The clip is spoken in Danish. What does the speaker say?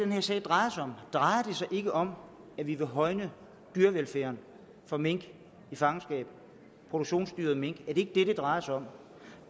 her sag drejer sig om drejer sig ikke om at vi vil højne dyrevelfærden for mink i fangenskab produktionsdyret mink er det ikke det det drejer sig om